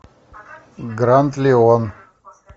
гранд лион